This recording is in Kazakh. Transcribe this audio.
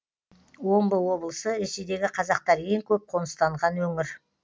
омбы облысы ресейдегі қазақтар ең көп қоныстанған өңір